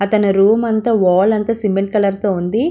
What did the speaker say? అతన room అంతా wall అంతా cement colour తో ఉంది.